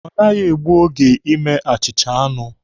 Ọ naghị egbu oge ime achịcha anụ.